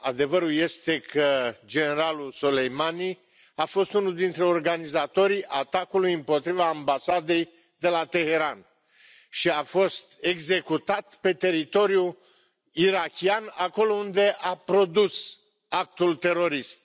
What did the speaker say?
Adevărul este că generalul Soleimani a fost unul dintre organizatorii atacului împotriva ambasadei de la Teheran și a fost executat pe teritoriu irakian, acolo unde a produs actul terorist.